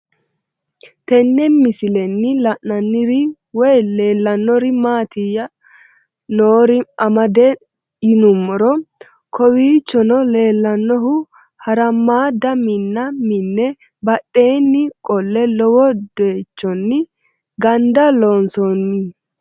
Tenne misilenni la'nanniri woy leellannori maattiya noori amadde yinummoro kowiichonno leelannohu harammaadda Minna minne badheenni qole lowo doyiichonni gandda loonsoonni